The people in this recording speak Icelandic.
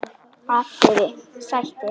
atriði: Sættir?